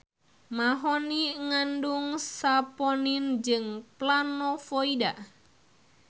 Mahoni ngandung saponin jeung planovoida.